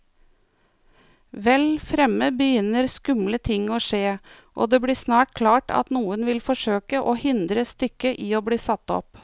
Vel fremme begynner skumle ting å skje, og det blir snart klart at noen vil forsøke å hindre stykket i bli satt opp.